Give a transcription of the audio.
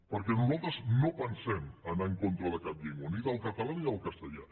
perquè nosaltres no pensem anar en con tra de cap llengua ni del català ni del castellà